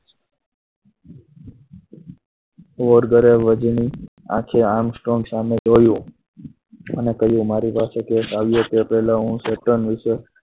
Morgan અને આખેઆમ Stone સામે કહ્યું અને કહ્યું મારી પાસે case આવ્યો તે પહેલા હું